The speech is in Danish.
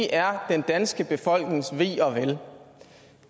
er den danske befolknings ve og vel